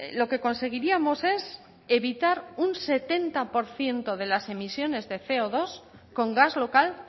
lo que conseguiríamos es evitar un setenta por ciento de las emisiones de ce o dos con gas local